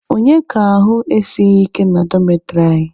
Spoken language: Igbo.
Onye ka ahụ esighi ike na dọmetịrị anyị?